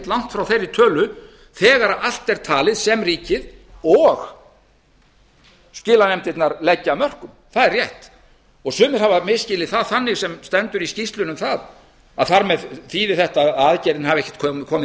langt frá þeirri tölu þegar allt er talið sem ríkið og skilanefndirnar leggja af mörkum það er rétt sumir hafa misskilið það þannig sem stendur í skýrslunni um það að þar með þýði þetta að aðgerðin hafi ekki komið